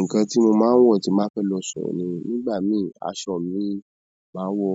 Nǹkan tí mo máa ń wọ̀ tí máa fẹ́ lọ sọ́n ni, nígbà mí aṣọ mi, màá wọ